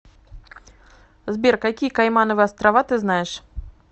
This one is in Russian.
сбер какие каймановы острова ты знаешь